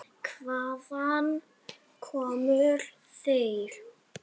Hvaðan komu þeir?